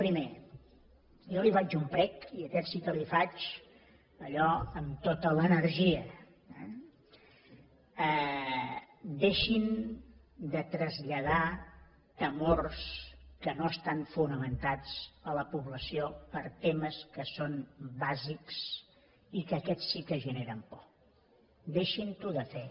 primer jo li faig un prec i aquest sí que l’hi faig allò amb tota l’energia eh deixin de traslladar temors que no estan fonamentats a la població per temes que són bàsics i que aquests sí que generen por deixin ho de fer